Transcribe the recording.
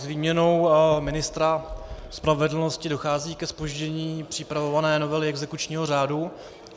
S výměnou ministra spravedlnosti dochází ke zpoždění připravované novely exekučního řádu.